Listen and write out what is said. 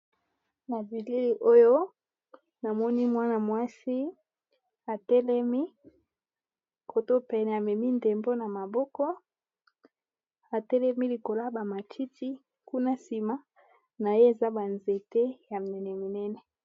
Na bilili oyo namoni mwana-mwasi atelemi koto pene amemi ndembo na maboko atelemi likola ba matiti kuna nsima na ye eza ba nzete ya mene minene.